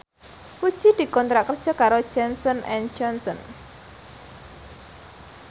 Puji dikontrak kerja karo Johnson and Johnson